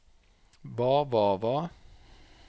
hva hva hva